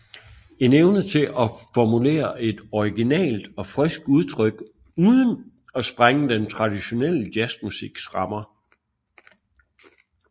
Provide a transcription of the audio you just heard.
En evne til at formulere et originalt og friskt udtryk uden at sprænge den traditionelle jazzmusiks rammer